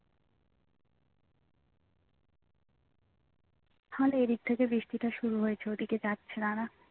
তাহলে এদিক থেকে বৃষ্টিটা শুরু হয়েছে ওদিকে যাচ্ছে দাঁড়া